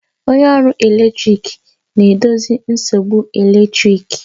Onye ọrụ eletrik na-edozi nsogbu eletrik